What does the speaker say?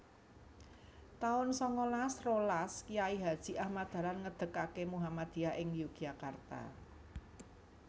taun sangalas rolas Kyai Haji Ahmad Dahlan ngedegaké Muhammadiyah ing Yogyakarta